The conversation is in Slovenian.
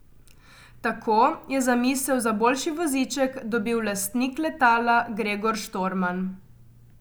Tako je zamisel za boljši voziček dobil lastnik letala Gregor Štorman.